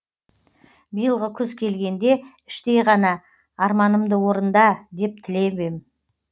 биылғы күз келгенде іштей ғана арманымды орында деп тілеп ем